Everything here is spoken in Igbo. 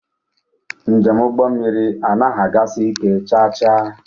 Njem ụgbọ mmiri anaghị agasi ike chaa chaa.